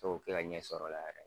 fɛ k'o kɛ ka ɲɛsɔrɔ o la yɛrɛ